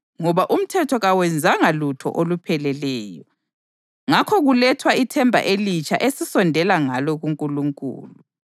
(ngoba umthetho kawenzanga lutho olupheleleyo) ngakho kulethwa ithemba elitsha esisondela ngalo kuNkulunkulu.